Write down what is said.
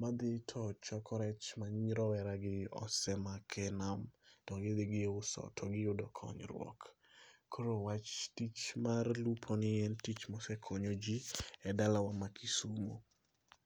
madhi to choko rech ma roweragi osemako e nam to gidhi giuso to giyudo konyruok. Koro wach, tich mar lupo ni en tich mosekonyo jii e dala ma Kisumo